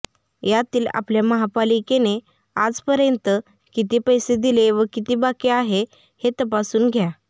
यातील आपल्या महापालिकेने आजपर्यंत किती पैसे दिले व किती बाकी आहे हे तपासून घ्या